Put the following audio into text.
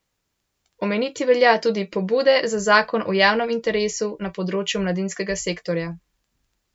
Omeniti velja tudi pobude za zakon o javnem interesu na področju mladinskega sektorja.